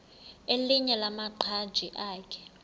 elinye lamaqhaji akhe